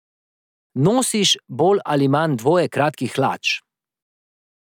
Nosiš bolj ali manj dvoje kratkih hlač.